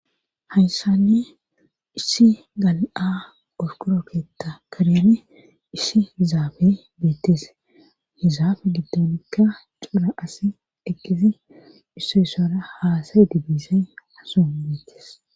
hayssanni issi gal7a qorqoro keta karen isshi hizaafe beettes hizaafe giddonikka cura as eqqisi isso issora haasayedi bizay ha son betes